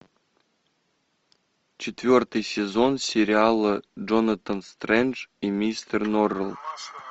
четвертый сезон сериала джонатан стрендж и мистер норрелл